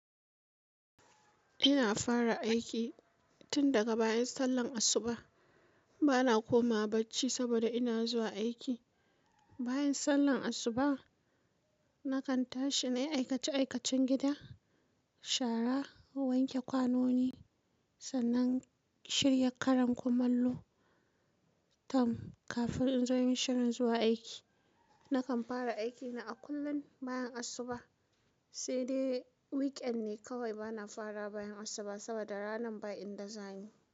Ina fara aiki tun daga bayan sallan asuba. Bana koma wa bacci saboda ina zuwa aiki. Bayan sallan asuba, nakan tashi nayi aikace-aikacen gida, shara, wanke kwanoni, sannan shirya karen komallo tam kafin in zo yin shirin zuwa aiki. Nakan fara aikina a kullum bayan asuba, sai dai weekend ne kawai bana fara bayan asuba saboda ranan ba inda za ni.